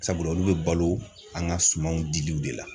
Sabula olu bɛ balo an ka sumanw diliw de la.